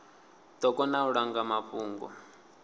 ḓo kona u langwa mafhungo